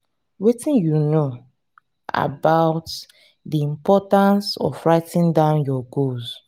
wetin you know about di importance of writing down your goals?